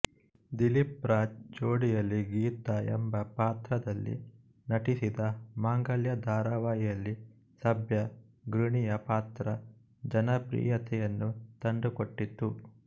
ದಿಲೀಪ್ ರಾಜ್ ಜೋಡಿಯಲ್ಲಿ ಗೀತಾ ಎಂಬ ಪಾತ್ರದಲ್ಲಿ ನಟಿಸಿದ ಮಾಂಗಲ್ಯ ಧಾರಾವಾಹಿಯಲ್ಲಿ ಸಭ್ಯ ಗೃಣಿಯ ಪಾತ್ರ ಜನಪ್ರಿಯತೆಯನ್ನು ತಂದುಕೊಟ್ಟಿತು